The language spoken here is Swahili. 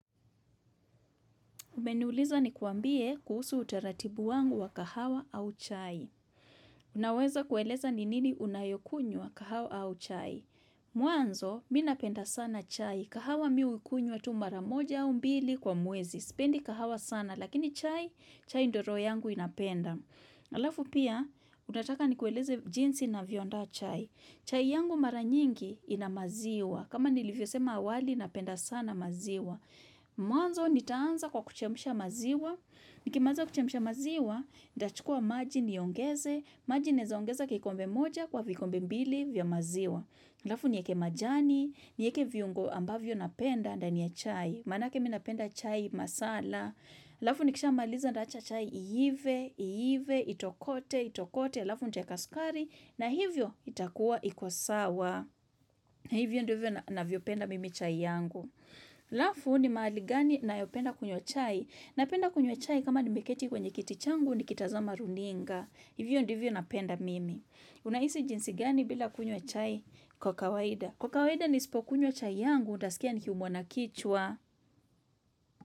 Umeniuliza nikwambie kuhusu utaratibu wangu wa kahawa au chai. Unaweza kueleza ni nini unayokunywa kahawa au chai. Mwanzo, mimi napenda sana chai. Kahawa mimi hukunywa tu mara moja au mbili kwa mwezi. Spendi kahawa sana, lakini chai, chai ndiyo roho yangu inapenda. Halafu pia, unataka nikueleze jinsi navyoandaa chai. Chai yangu mara nyingi inamaziwa. Kama nilivyosema awali, napenda sana maziwa. Mwanzo nitaanza kwa kuchemsha maziwa Nikimaliza kuchemsha maziwa Nitachukua maji niongeze maji nawezaongeza kikombe moja kwa vikombe mbili vya maziwa Halafu nieke majani nieke viungo ambavyo napenda ndani ya chai Manake mimi napenda chai masala Halafu nikishamaaliza nitaacha chai iive iive, itokote, itokote halafu nitaweka sukari na hivyo itakuwa ikosawa na hivyo ndivyo navyopenda mimi chai yangu Halafu ni mahali gani anayopenda kunywa chai. Napenda kunywa chai kama nimeketi kwenye kiti changu ni kitazama runinga. Hivyo ndivyo napenda mimi. Unahisi jinsi gani bila kunywa chai kwa kawaida. Kwa kawaida nisipokunywa chai yangu, nitasikia nikiumwa na kichwa.